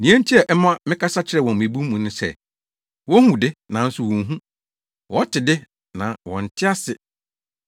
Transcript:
Nea enti a ɛma mekasa kyerɛ wɔn mmebu mu no ne sɛ, “Wohu de, nanso wonhu; wɔte de, na wɔnte ase.